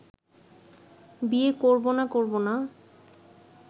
বিয়ে করব না করব না